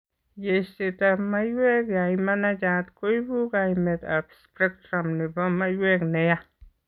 Yeiseet ab maiwek yeimanachat koibu kaimet ab spectrum nebo maiwek neyaa